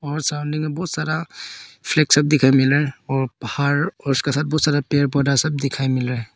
और सामने में बहुत सारा फ्लैग सब देखने को मिल रहा और पहाड़ और उसके साथ बहुत सारा पेड़ पौधा सब देखने को मिल रहा।